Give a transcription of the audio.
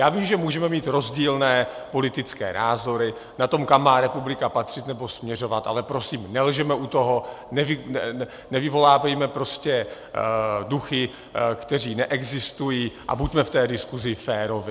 Já vím, že můžeme mít rozdílné politické názory na to, kam má republika patřit nebo směřovat, ale prosím, nelžeme u toho, nevyvolávejme prostě duchy, kteří neexistují, a buďme v té diskuzi féroví.